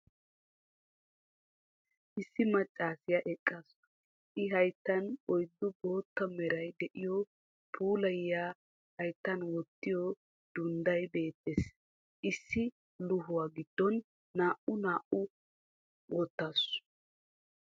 Issi maccassiya eqaasu. I hayttan oyddu boottaa meray de'iyo phooliya hayttan wottiyo dundday beettees. Issi luhuwa giddon naa"aa naa"aa woottaasu.